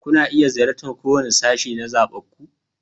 Kuna iya ziyartar kowane sashe na zaɓinku.